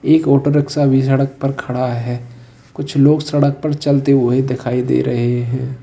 एक auto rickshaw भी सड़क पर खड़ा है कुछ लोग सड़क पर चलते हुए दिखाई दे रहे हैं।